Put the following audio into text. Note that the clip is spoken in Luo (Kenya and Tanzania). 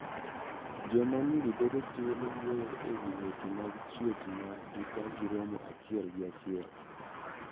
Joma nyiri bedo thuolo wuoyo ewi weche mag chuech mag gi ka gi romo achiel gi achiel.